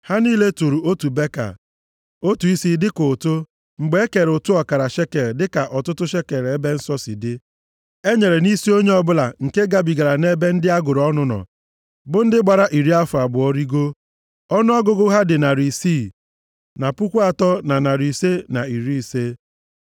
Ha niile tụrụ otu beka, otu isi, dịka ụtụ mgbe e kere ụtụ ọkara shekel dịka ọtụtụ shekel ebe nsọ si dị, e nyere nʼisi onye ọbụla nke gabigara nʼebe ndị a gụrụ ọnụ nọ, bụ ndị gbara iri afọ abụọ rigoo. Ọnụọgụgụ ha dị narị isii, na puku atọ, na narị ise, na iri ise.